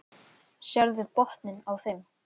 Sérðu botninn á þeim.